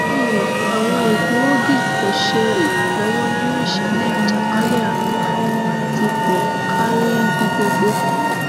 um awọn egboogi ko ṣe iranlọwọ ninu iṣẹlẹ ajakalẹarun ti po kari ibi gbogbo